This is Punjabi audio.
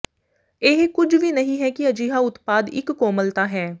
ਇਹ ਕੁਝ ਵੀ ਨਹੀਂ ਹੈ ਕਿ ਅਜਿਹਾ ਉਤਪਾਦ ਇੱਕ ਕੋਮਲਤਾ ਹੈ